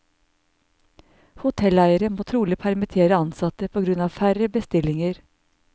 Hotelleiere må trolig permittere ansatte på grunn av færre bestillinger.